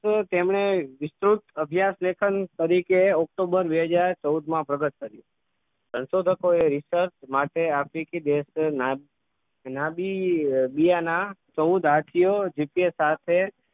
તેમણે વિસ્તૃત અભ્યાસ લેખન તરીકે october બે હજાર ચૌદ માં પ્રગટ કર્યું સંશોધકો research માટે આફ્રિકી દેશના નડીબીયા ના ચૌદ હાથીઓ જીતે સાથે